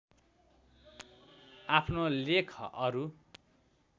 आफ्नो लेख अरू